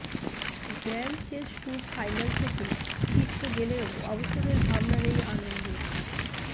grand chess tour final থেকে ছিটকে গেলেও অবসরের ভাবনা নেই আনন্দের